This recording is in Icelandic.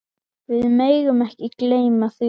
Við megum ekki gleyma því.